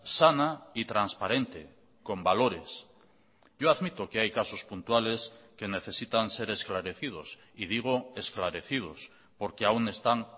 sana y transparente con valores yo admito que hay casos puntuales que necesitan ser esclarecidos y digo esclarecidos porque aún están